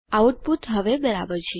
output હવે બરાબર છે